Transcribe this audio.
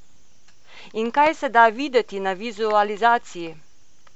In kaj se da videti na vizualizaciji?